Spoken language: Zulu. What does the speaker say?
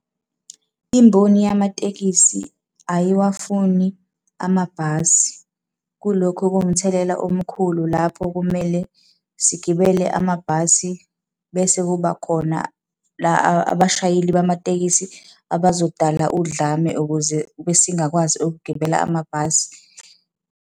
Imboni yamatekisi ayiwafuni amabhasi. Kulokhu kuwumthelela omkhulu lapho kumele sigibele amabhasi, bese kuba khona la abashayeli bamatekisi abazodala udlame ukuze singakwazi ukugibela amabhasi.